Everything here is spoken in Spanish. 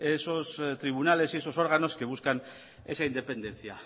esos tribunales y esos órganos que buscan esa independencia